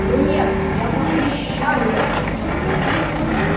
ну нет я запрещаю это